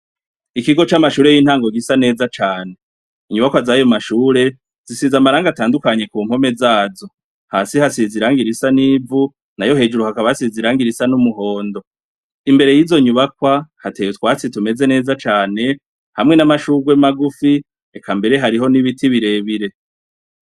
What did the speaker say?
Ikigo c'amashure y'intango gisa neza cane, inyubakwa zayo mashure zisize amarangi atandukanye kumpome zazo, hasi hasize irangi risa n'ivu, nayo hejuru hakaba hasize risa n'umuhondo, imbere y'izo nyubakwa hateye utwatsi tumeze neza cane, hamwe n'amashurwe magufi, eka mbere hariho n'ibiti birebire.